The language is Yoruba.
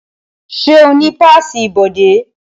Ṣé o ní páàsì ibodè?